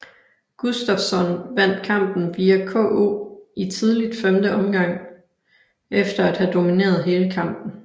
Gustafsson vandt kampen via KO i tidligt femte omgang efter at have domineret hele kampen